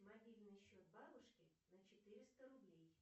мобильный счет бабушки на четыреста рублей